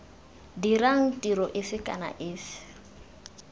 dirang tiro efe kana efe